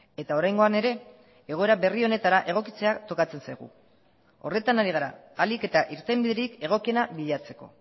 eta oraingoan ere egoera berri honetara egokitzea tokatzen zaigu horretan ari gara ahalik eta irtenbiderik egokiena bilatzeko